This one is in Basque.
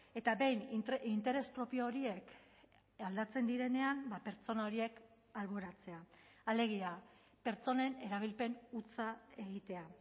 eta behin interes propio horiek aldatzen direnean pertsona horiek alboratzea alegia pertsonen erabilpen hutsa egitea